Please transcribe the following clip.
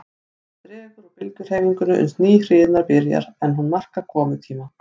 Síðan dregur úr bylgjuhreyfingunni uns ný hrina byrjar, en hún markar komutíma